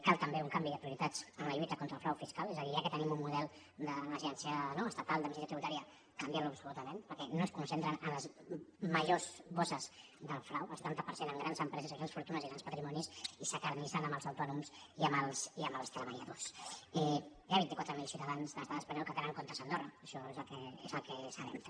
cal també un canvi de prioritats en la lluita contra el frau fiscal és a dir ja que tenim un model d’agència estatal d’administració tributària canviar lo absolutament perquè no es concentren en les majors bosses del frau el setanta per cent en grans empreses i grans fortunes i grans patrimonis i s’acarnissen amb els autònoms i amb els treballadors hi ha vint i quatre mil ciutadans de l’estat espanyol que tenen comptes a andorra això és el que sabem també